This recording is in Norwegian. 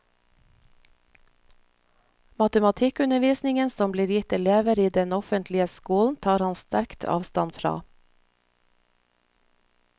Matematikkundervisningen som blir gitt elever i den offentlige skolen, tar han sterkt avstand fra.